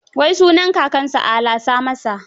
Wai sunan kakansa ala sa masa?